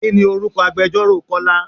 Kini orúkọ agbẹjoro Kọ́lá?